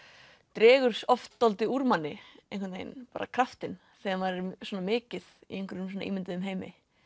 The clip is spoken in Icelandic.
dregur oft dálítið úr manni einhvern veginn bara kraftinn þegar maður er svona mikið í einhverjum ímynduðum heimi